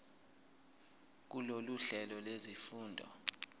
kulolu hlelo lwezifundo